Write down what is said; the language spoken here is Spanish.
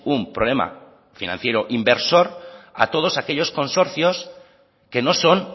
un problema financiero inversor a todos aquellos consorcios que no son